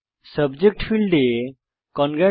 subject ফীল্ডে Congrats